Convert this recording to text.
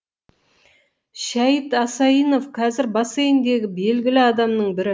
шәйіт асайынов қазір бассейіндегі белгілі адамның бірі